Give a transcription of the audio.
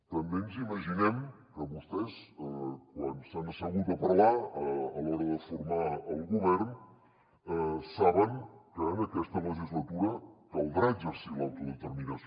també ens imaginem que vostès quan s’han assegut a parlar a l’hora de formar el govern saben que en aquesta legislatura caldrà exercir l’autodeterminació